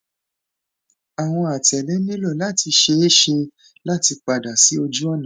awọn atẹle nilo lati ṣee ṣe lati pada si ojuọna